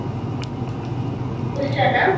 ବୁଝୁଛ ନା